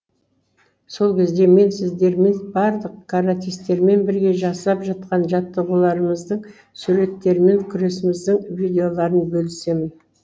сол кезде мен сіздермен барлық каратисттермен бірге жасап жатқан жаттығуларымыздың суреттерімен күресіміздің видеоларымен бөлісемін